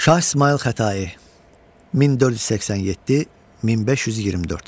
Şah İsmayıl Xətai 1487-1524.